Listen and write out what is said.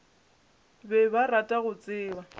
be ba rata go tseba